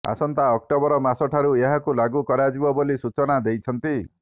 ଆସନ୍ତା ଅକ୍ଟୋବର ମାସଠାରୁ ଏହାକୁ ଲାଗୁ କରାଯିବ ବୋଲି ସୁଚନା ଦେଇଛନ୍ତି